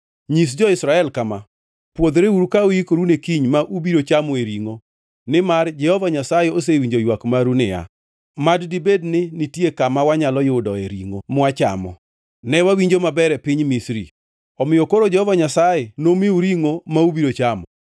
“Nyis jo-Israel kama: ‘Pwodhreuru ka uikoru ne kiny ma ubiro chamoe ringʼo; nimar Jehova Nyasaye osewinjo ywak maru niya, “Mad dibed ni nitie kama wanyalo yudoe ringʼo mwachamo! Ne wawinjo maber e piny Misri!” Omiyo koro Jehova Nyasaye nomiu ringʼo, ma ubiro chamo.